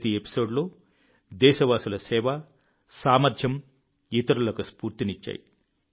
ప్రతి ఎపిసోడ్లో దేశవాసుల సేవ సామర్థ్యం ఇతరులకు స్ఫూర్తినిచ్చాయి